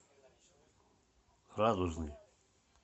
радужный